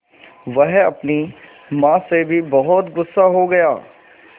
वह अपनी माँ से भी बहुत गु़स्सा हो गया